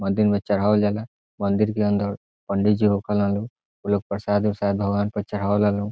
मंदिर में चढ़ावल जाला मंदिर के अंदर पंडीजी होखल लोग उलोग प्रसाद उरसाद भगवन प चढ़ा वाला लोग।